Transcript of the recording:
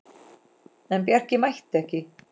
En Bjarki mætti ekki.